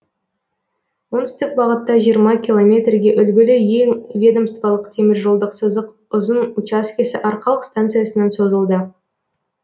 оңтүстік бағытта жиырма километрге үлгілі ең ведомстволық теміржолдық сызық ұзын учаскесі арқалық станциясынан созылды